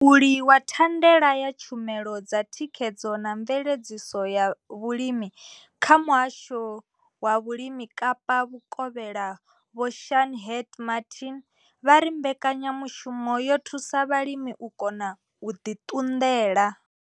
Mulauli wa thandela ya tshumelo dza thikhedzo na mveledziso ya vhulimi kha muhasho wa vhulimi Kapa vhukovhela Vho Shaheed Martin vha ri mbekanyamushumo yo thusa vhalimi u kona u ḓi ṱunḓela.